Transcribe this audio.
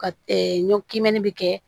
Ka ɲɔ k'i mɛnɛ bɛ kɛ